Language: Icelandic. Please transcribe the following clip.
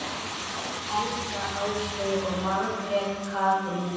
Helga, Ásgeir og Margrét Katrín.